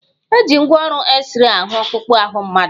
Eji ngwaọrụ exrey ahụ ọkpụkpụ ahụ mmadụ.